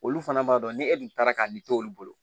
Olu fana b'a dɔn ni e dun taara ka ni to olu bolo